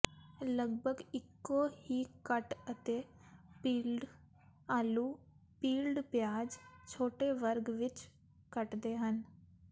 ਲਗਭਗ ਇੱਕੋ ਹੀ ਕੱਟ ਅਤੇ ਪੀਲਡ ਆਲੂ ਪੀਲਡ ਪਿਆਜ਼ ਛੋਟੇ ਵਰਗ ਵਿੱਚ ਕੱਟਦੇ ਹਨ